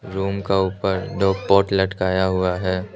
Room का ऊपर दो पोट लटकाया हुआ है।